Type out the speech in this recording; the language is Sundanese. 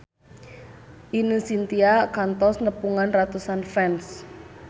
Ine Shintya kantos nepungan ratusan fans